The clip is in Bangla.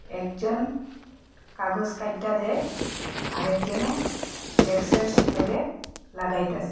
একজন কাগজ কাইট্টা দেয় আর একজনে ডেক্সের লগে লাগাইতাসে।